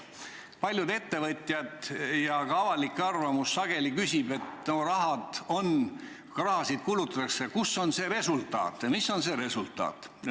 Paljud ettevõtjad küsivad ja ka avalikes arvamustes öeldakse sageli, et raha on ja seda kulutatakse, aga kus on resultaat.